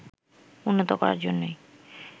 উন্নত করার জন্যই